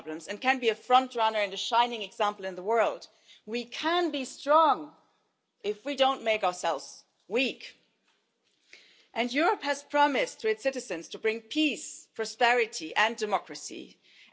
again every single day, because inside Europe today, judges are being dismissed, corruption is being legalised, newspapers are closed, universities harassed and civil society treated